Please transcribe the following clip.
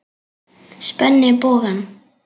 Spenni bogann.